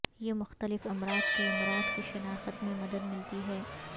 یہ مختلف امراض کے امراض کی شناخت میں مدد ملتی ہے